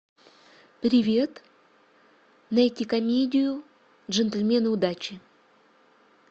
привет найти комедию джентльмены удачи